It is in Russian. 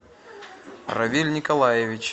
равиль николаевич